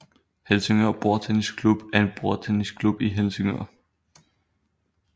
Helsingør Bordtennis Klub er en bordtennisklub i Helsingør